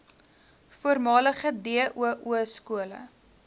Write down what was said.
voormalige doo skole